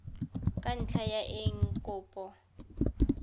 ka ntlha ya eng kopo